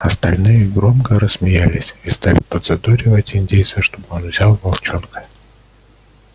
остальные громко рассмеялись и стали подзадоривать индейца чтобы он взял волчонка